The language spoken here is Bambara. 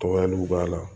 Tɔgɔyaliw b'a la